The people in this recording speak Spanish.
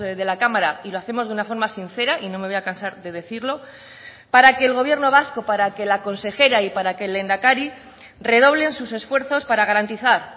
de la cámara y lo hacemos de una forma sincera y no me voy a cansar de decirlo para que el gobierno vasco para que la consejera y para que el lehendakari redoblen sus esfuerzos para garantizar